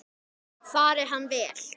Fari hann vel.